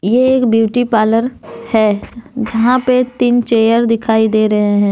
ये एक beauty parlour है जहां पे तीन चेयर दिखाई दे रहे हैं।